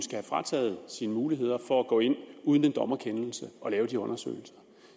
have frataget sine muligheder for at gå ind uden en dommerkendelse og lave de undersøgelser